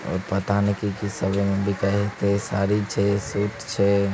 और पता नहीं की साड़ी छै सूट छै |